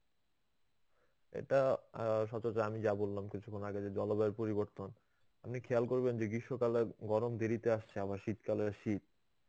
এটা অ্যাঁ সচরাচর আমি যা বললাম, কিছুক্ষণ আগে যে জলবায়ুর পরিবর্তন. আপনি খেয়াল করবেন যে গ্রীষ্মকালে গরম দেরিতে আসছে. আবার শীতকালে শীত.